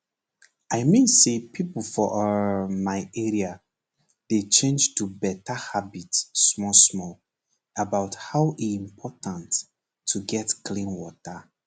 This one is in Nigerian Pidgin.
i mean say pipo for um my area dey change to better habit small small about how e important to get clean water